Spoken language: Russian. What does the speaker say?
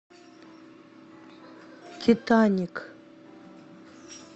титаник